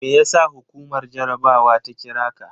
Me yasa hukumar jarabawa ta kira ka?